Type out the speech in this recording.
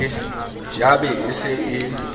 ya ba e se e